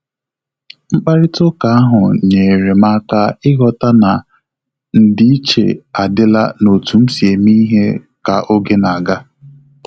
Mkparịta ụka ahụ nyere m aka ịghọta na ndị-iche adịla na otu msi eme ihe ka oge na-aga